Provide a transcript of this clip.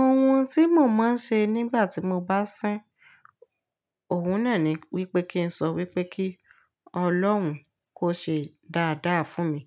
Ohun tí mo máa ń ṣe nígbà tí mo bá sín, òun náà ni wípé kí n sọ wípé kí Ọlọ́run kó ṣe dáadáa fún mi.